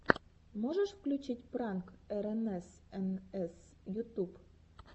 можешь включить пранк эрэнэсэнэс ютуб